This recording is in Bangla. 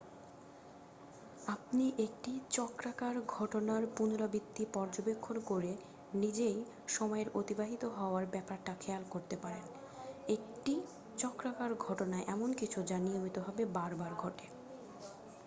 আপনি একটি চক্রাকার ঘটনার পুনরাবৃত্তি পর্যবেক্ষণ করে নিজেই সময়ের অতিবাহিত হওয়ার ব্যাপারটা খেয়াল করতে পারেন একটি চক্রাকার ঘটনা এমন কিছু যা নিয়মিতভাবে বার বার ঘটে